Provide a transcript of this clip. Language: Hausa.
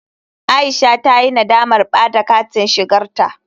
Aisha ta yi nadamar ɓada da katin shigarta.